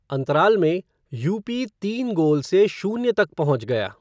अंतराल में, यूपी तीन गोल से शून्य तक पहुँच गया।